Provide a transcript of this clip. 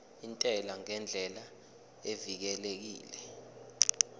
intela ngendlela evikelekile